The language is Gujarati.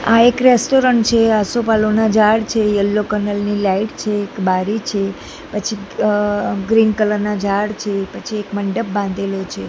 આ એક રેસ્ટોરન્ટ છે આસોપાલવના ઝાડ છે યલો કલર ની લાઈટ છે એક બારી છે પછી અ ગ્રીન કલર ના ઝાડ છે પછી એક મંડપ બાંધેલો છે.